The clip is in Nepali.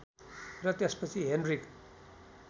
र त्यसपछि हेनरिक